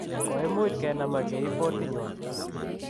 koimuch kenam ak keib botitnywa.